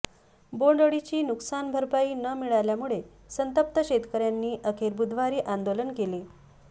बोंडअळीची नुकसानभरपाई न मिळाल्यामुळे संतप्त शेतकर्यांनी अखेर बुधवारी आंदोलन केले